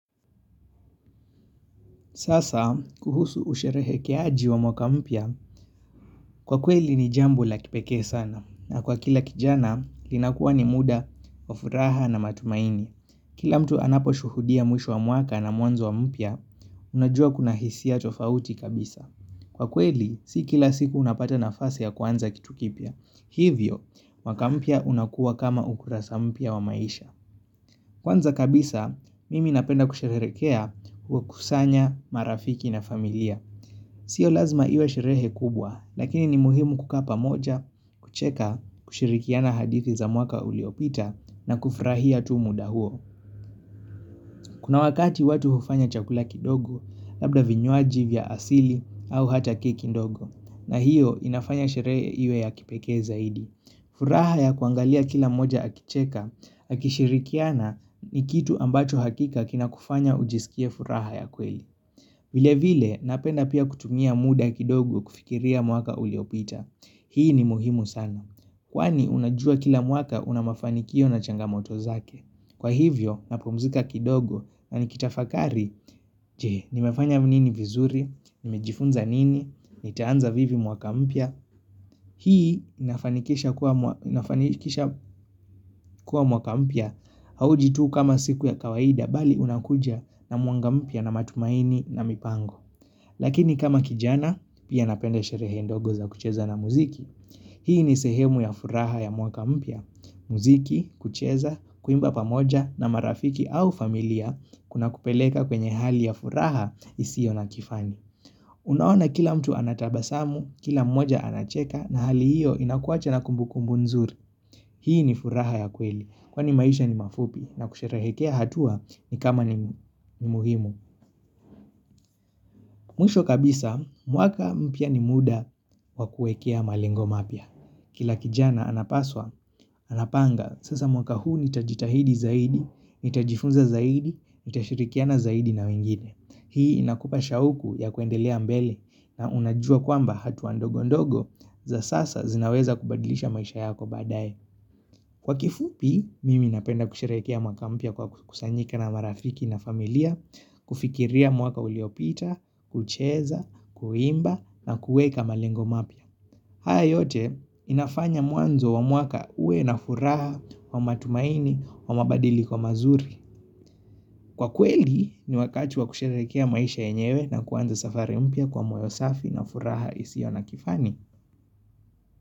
Sasa, kuhusu usherekeaji wa mwaka mpya, kwa kweli ni jambo la kipekee sana. Na kwa kila kijana, linakuwa ni muda, wa furaha na matumaini. Kila mtu anapo shuhudia mwisho wa mwaka na mwanzo mpya, unajua kuna hisia tofauti kabisa. Kwa kweli, si kila siku unapata nafasi ya kuanza kitu kipya. Hivyo, mwaka mpya unakuwa kama ukurasa mpya wa maisha. Kwanza kabisa, mimi napenda kusherehekea kuwakusanya marafiki na familia. Sio lazima iwe sherehe kubwa, lakini ni muhimu kukaa pamoja, kucheka, kushirikiana hadithi za mwaka uliopita na kufrahia tu muda huo. Kuna wakati watu hufanya chakula kidogo, labda vinywaji vya asili au hata keki ndogo, na hiyo inafanya sheree iwe ya kipekee zaidi. Furaha ya kuangalia kila mmoja akicheka, akishirikiana ni kitu ambacho hakika kina kufanya ujisikie furaha ya kweli. Vile vile, napenda pia kutumia muda kidogo kufikiria mwaka uliopita. Hii ni muhimu sana. Kwani, unajua kila mwaka unamafanikio na changamoto zake. Kwa hivyo, napumzika kidogo na nikitafakari, je, nimefanya nini vizuri, nimejifunza nini, nitaanza vivi mwaka mpya. Hii, inafanikisha kuwa mwakampya hauji tu kama siku ya kawaida bali unakuja na mwanga mpya na matumaini na mipango. Lakini kama kijana, pia napenda sherehe ndogo za kucheza na muziki. Hii ni sehemu ya furaha ya mwaka mpya. Muziki, kucheza, kuimba pamoja na marafiki au familia kuna kupeleka kwenye hali ya furaha isio na kifani. Unaona kila mtu anatabasamu, kila mmoja anacheka na hali hiyo inakuwacha na kumbukumbu nzuri. Hii ni furaha ya kweli. Kwani maisha ni mafupi na kusherehekea hatua ni kama ni muhimu. Mwisho kabisa, mwaka mpya ni muda wakuekea malengo mapya. Kila kijana anapaswa, anapanga, sasa mwaka huu nitajitahidi zaidi, nitajifunza zaidi, nitashirikiana zaidi na wengine. Hii inakupa shauku ya kuendelea mbele na unajua kwamba hatua ndogo ndogo za sasa zinaweza kubadilisha maisha yako baadaye. Kwa kifupi, mimi napenda kusherehekea mwaka mpya kwa kusanyika na marafiki na familia, kufikiria mwaka uliopita, kucheza, kuimba na kuweka malengo mapya. Haya yote, inafanya mwanzo wa mwaka uwe na furaha, wa matumaini, wa mabadiliko mazuri. Kwa kweli, ni wakati wa kusherehekea maisha yenyewe na kuanza safari mpya kwa moyo safi na furaha isio na kifani.